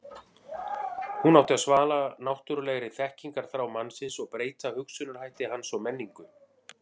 hún átti að svala náttúrulegri þekkingarþrá mannsins og breyta hugsunarhætti hans og menningu